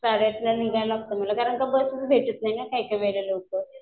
साडे आठला निघायला लागतं मला कारण की बसच भेटत नाही मला लवकर